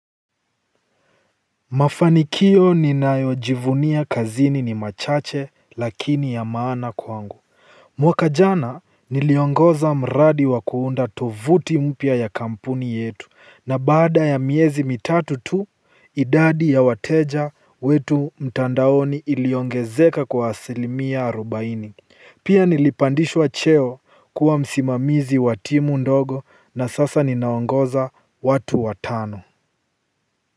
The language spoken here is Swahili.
Mafanikio ninayojivunia kazini ni machache lakini ya maana kwangu. Mwaka jana niliongoza mradi wakuunda tovuti mpya ya kampuni yetu na baada ya miezi mitatu tu idadi ya wateja wetu mtandaoni iliongezeka kwa asilimia arubaini. Pia nilipandishwa cheo kuwa msimamizi wa timu ndogo na sasa ninaongoza watu watano. Kwa hivyo.